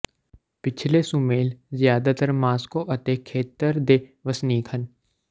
ਪਿਛਲੇ ਸੁਮੇਲ ਜਿਆਦਾਤਰ ਮਾਸਕੋ ਅਤੇ ਖੇਤਰ ਦੇ ਵਸਨੀਕ ਹਨ